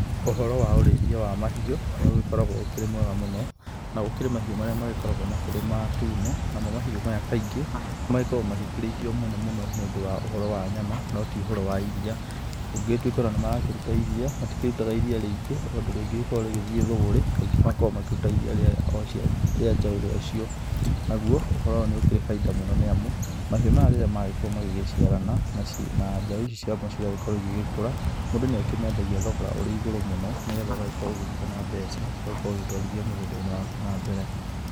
Ũhoro wa ũrĩithia wa mahiũ nĩ ũgĩkoragwo ũkĩrĩ mwega mũno, na gũkĩrĩ mahiũ marĩa magĩkoragwo makĩrĩ matune. Namo mahiũ maya kaingĩ magĩkoragwo makĩrĩithio mũno mũno nĩ ũndũ wa ũhoro wa nyama no ti ũndũ wa ũhoro wa iria. Kũngĩgĩtuĩka ona nĩ makũrata iria matikĩrutaga iria rĩingĩ ũndũ rĩngĩgĩkorwo rĩgĩthiĩ thũgũrĩ rĩngĩ makoragwo makĩruta iria o rĩa njaũ rĩacio. Naguo ũhoro ũyũ nĩ ũkĩrĩ bainda mũno nĩ amu mahiũ maya rĩrĩa magĩkorwo magĩciarana na njau ici ciao cigagĩkorwo igĩgĩkũra, mũndũ nĩ akĩmendagia thogora ũrĩ igũru mũno nĩ getha ũgagĩkorwo ũgĩkĩona mbeca ũgakorwo ũgĩtwarithia mũgũnda-inĩ waku na mbere.